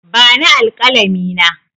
Bani alƙalami na!